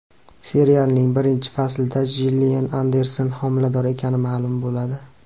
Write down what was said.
Serialning birinchi faslida Jillian Anderson homilador ekani ma’lum bo‘ladi.